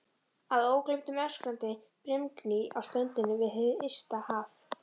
Að ógleymdum öskrandi brimgný á ströndinni við hið ysta haf.